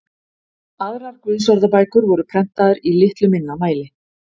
Aðrar guðsorðabækur voru prentaðar í litlu minna mæli.